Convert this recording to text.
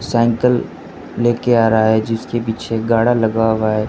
Cycle लेके आ रहा है जिसके पीछे गाड़ा लगा हुआ है।